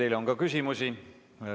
Teile on ka küsimusi.